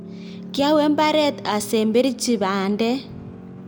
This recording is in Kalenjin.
kiawe mbaret asemberchi bandek